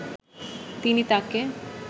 তিনি তাকে